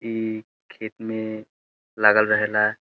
ई खेत में लागल रहेला।